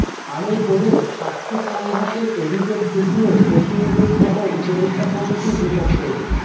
আরও পড়ুন স্বার্থ সংঘাতের অভিযোগ উঠল কপিল দেব সহ উপদেষ্টা কমিটির বিপক্ষে